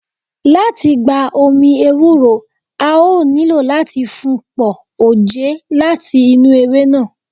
Lati gba omi ewúro, a o nilo lati fun pọ oje lati inu ewe naa.